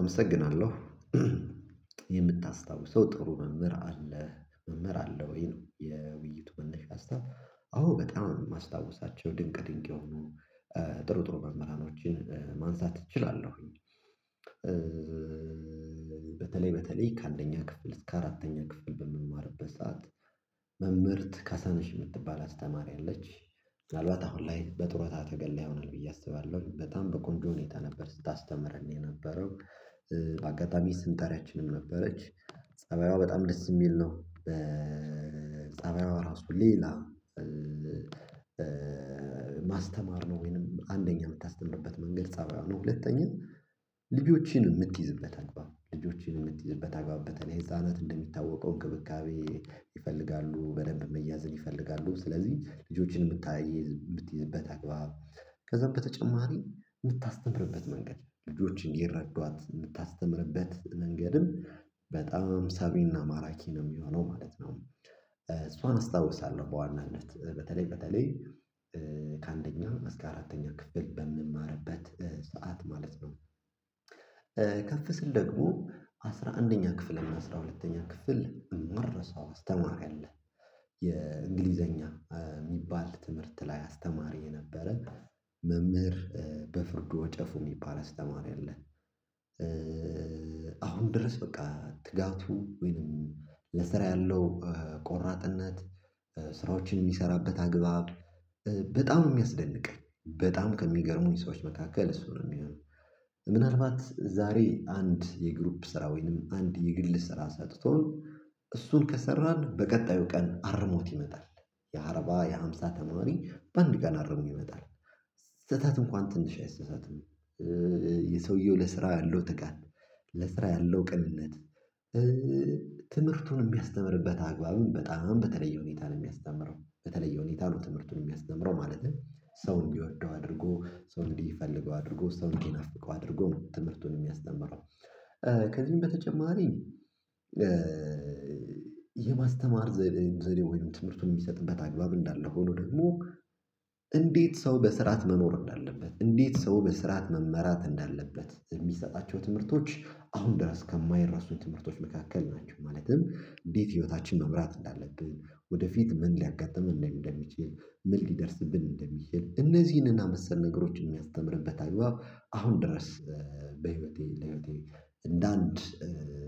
አመሰግናለሁ። የምታስታውሰው ጥሩ መምህር አለ መምህር አለ ወይ ነው የውይይቱ መነሻ ሀሳብ አዎ በጣም የማስታውሳቸው ድንቅ ድንቅ የሆኑ ጥሩ ጥሩ መምህራኖችን ማንሳት እችላለሁኝ። በተለይ በተለይ ከአንደኛ ክፍል እስከ አራተኛ ክፍል በምማርበት ሰዓት መምህርት ካሳነሽ የምትባል አስተማሪ አለች ምናልባት አሁን ላይ በጡረታ ተገላ ይሆናል ብዬ አስባለሁኝ በጣም በቆንጆ ሁኔታ ነበር ስታስተምረን የነበረው። በአጋጣሚ ስም ጠሪያችንም ነበረች ጸባይዋ በጣም ደስ የሚል ነው። ጸባይዋ ራሱ ሌላ። ማስተማር ነው ወይንም አንደኛ የምታስተምርበት መንገድ ፀባይ ነው ሁለተኛ ልጆችን የምትይዝበት አግባብ ልጆችን የምትይዝበት አግባብ በተለይ ህፃናት እንደሚታወቀው እንክብካቤ ይፈልጋሉ በደንብ መያዛን ይፈልጋሉ ስለዚህ ልጆችን የምታይ የምትይዝበት አግባብ ከዛም በተጨማሪ የምታስተምርበት መንገድ ልጆችን እንዲረዷት የምታስተምርበት መንገድም በጣም ሳቢና ማራኪ ነው የሚሆነው ማለት ነው። እሷን እስታውሳለሁ በዋናነት በተለይ በተለይ ከአንደኛ እስከ አራተኛ ክፍል በምማርበት ሰዓት ማለት ነው። ከፍ ስል ደግሞ አስራ አንደኛ ክፍል እና አስራ ሁለተኛ ክፍል የማልረሳው አስተማሪ ለአ የ እንግሊዘኛ የሚባል ትምህርት ላይ አስተማሪ የነበረ መምህር በፍርዱ ወጨፉ የሚባል አስተማሪ አለ። አሁን ድረስ በቃ ትጋቱ ወይንም ለስራ ያለው ቆራጥነት ስራዎችን የሚሰራበት አግባብ በጣም ነው የሚያስደንቀኝ በጣም ከሚገርሙኝ ሰዎች መካከል እሱ ነው የሚሆነው። ምናልባት ዛሬ አንድ የግሩፕ ስራ ወይንም አንድ የግል ስራ ሰጥቶ እሱን ከሰራን በቀጣዩ ቀን አርሞት ይመጣል። የአርባ የሃምሳ ተማሪ በአንድ ቀን አረሞ ይመጣል። ስህተት እንኳን ትንሽ አይሰሳትም። የሰውየው ለስራ ያለው ትጋት ለስራ ያለው ቅንነት። ትምህርቱን የሚያስተምርበት አግባብም በጣም በተለየ ሁኔታ ነው የሚያስተምረው በተለየ ሁኔታ ነው ትምህርቱን የሚያስተምረው ማለትም ሰው እንዲወደው አድርጎ ሰውን እንዲፈልገው አድርጎ ሰው እንዲነፍቀው አድርጎ ትምህርቱን የሚያስተምረው። ከዚህም በተጨማሪ የማስተማር ዘዴ ዘዴ ወይንም ትምህርቱን የሚሰጥበት አግባብ እንዳለ ሆኖ ደግሞ እንዴት ሰው በስርዓት መኖር እንዳለበት እንዴት ሰው በስርዓት መመራት እንዳለበት የሚሰጣቸው ትምህርቶች አሁን ድረስ ከማይረሱኝ ትምህርቶች መካከል ናቸው። ማለትም እንዴት ህይወታችን መምራት እንዳለብን ወደፊት ምን ሊያጋጥም እንደሚችል ምን ሊደርስብን እንደሚችል እነዚህንና መሰል ነገሮች የሚያስተምርበት አግባብ አሁን ድረስ። በህይወቴ ለህይወቴ እንደ አንድ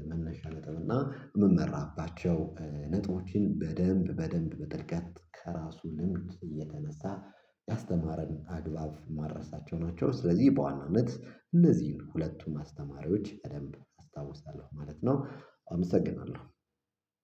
መነሻ ነጥብ እና የምመራባቸው ነጥቦችን በደንብ በደንብ በጥልቀት ከራሱ ልምድ እየተነሳ ያስተማረን አግባብ ማረሳቸው ናቸው። ስለዚህ በዋናነት እነዚህን ሁለቱም አስተማሪዎች በደንብ አስታውሳለሁ ማለት ነው። አመሰግናለሁ